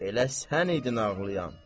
Elə sən idin ağlayan.